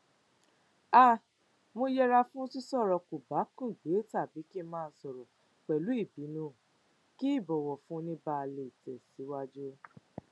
um mo yẹra fún sísòrò kòbákùngbé tàbí kí n máa sòrò pẹlú ìbínú kí um ìbọwọfúnni báa lè tẹsíwájú